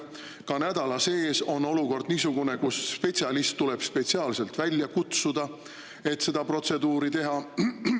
Ka nädala sees on niisugune olukord, kus spetsialist tuleb spetsiaalselt välja kutsuda, et seda protseduuri teha.